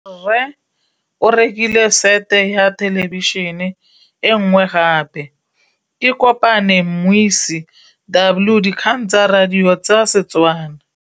Rre o rekile sete ya thêlêbišênê e nngwe gape. Ke kopane mmuisi w dikgang tsa radio tsa Setswana.